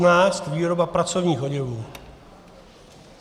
N115 - výroba pracovních oděvů.